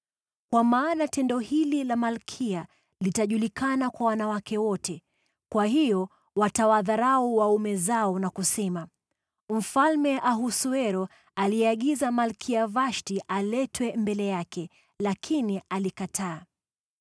Kwa maana tendo hili la malkia litajulikana kwa wanawake wote, kwa hiyo watawadharau waume zao na kusema, ‘Mfalme Ahasuero aliagiza Malkia Vashti aletwe mbele yake, lakini alikataa.’